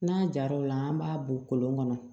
N'an jar'o la an b'a bɔ kolon kɔnɔ